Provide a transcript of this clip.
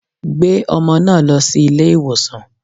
Gbé ọmọ náà lọ sí ilé ìwòsàn.